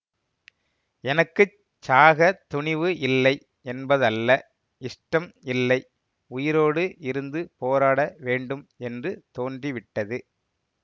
எனக்கு சாகத் துணிவு இல்லை என்பதல்ல இஷ்டம் இல்லை உயிரோடு இருந்து போராட வேண்டும் என்று தோன்றிவிட்டது